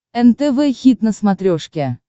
нтв хит на смотрешке